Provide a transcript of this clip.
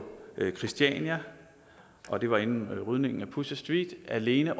christiania og det var inden rydningen af pusher street alene